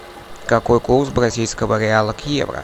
какой курс бразильского реала к евро